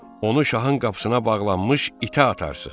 Onu şahın qapısına bağlanmış itə atarsız.